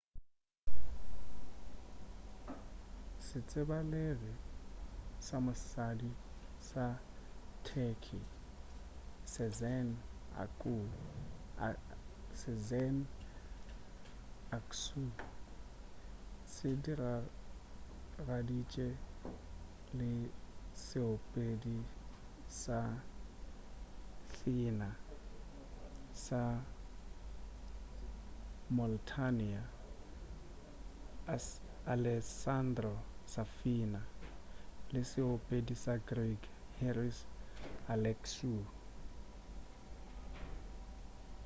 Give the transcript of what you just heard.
setsebalegi sa mosadi sa turkey sezen aksu se diragaditše le seopedi sa thena sa moitaliana alessandro safina le seopedi sa greek haris alexiou